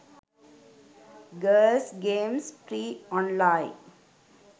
girls games free online